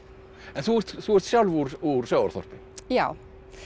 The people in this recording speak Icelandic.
en þú ert þú ert sjálf úr úr sjávarþorpi já